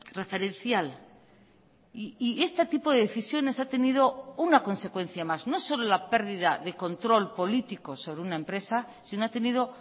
referencial y este tipo de decisiones ha tenido una consecuencia más no solo la pérdida de control político sobre una empresa sino ha tenido